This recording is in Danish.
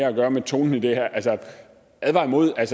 at gøre med tonen i det her advare imod at